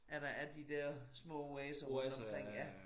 At der er de dér små oaser rundt omkring ja